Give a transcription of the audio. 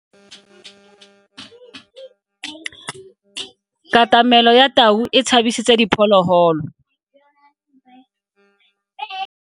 Katamelo ya tau e tshabisitse diphologolo.